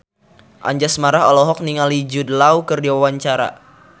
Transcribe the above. Anjasmara olohok ningali Jude Law keur diwawancara